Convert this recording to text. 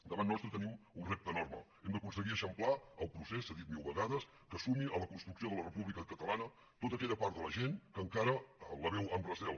davant nostre tenim un repte enorme hem d’aconseguir eixamplar el procés s’ha dit mil vegades que es sumi a la construcció de la república catalana tota aquella part de la gent que encara la veu amb recel